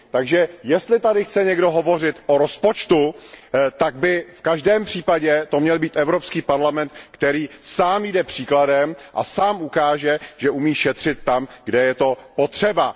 Takže jestli tady chce někdo hovořit o rozpočtu, tak by to v každém případě měl být Evropský parlament, který sám jde příkladem a sám ukáže, že umí šetřit tam, kde je to potřeba.